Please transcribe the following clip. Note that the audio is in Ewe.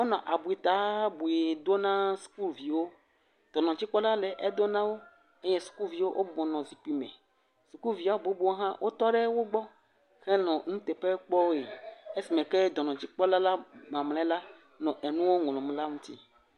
Wonɔ abɔta bui dom na sukuviwo, dɔnɔdzikpɔla le edo na wo eye sukuviwo wo bɔbɔ nɔ zikpui me, sukuvia bubu hã, wotɔ ɖe wo gbɔ, esime ke dɔnɔdzikpɔla mamlɛ la nɔ enuɔ ŋlɔm la ŋuti.